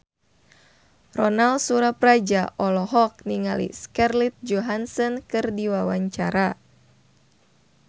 Ronal Surapradja olohok ningali Scarlett Johansson keur diwawancara